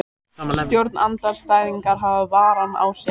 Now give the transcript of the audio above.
Stjórnarandstæðingar hafa varann á sér